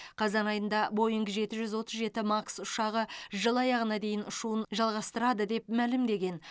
қазан айында бойңг жеті жүз отыз жеті макс ұшағы жыл аяғына дейін ұшуын жалғастырады деп мәлімдеген